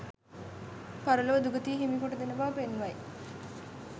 පරලොව දුගතිය හිමි කොට දෙන බව පෙන්වයි